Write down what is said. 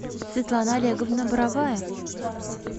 светлана олеговна боровая